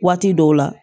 Waati dɔw la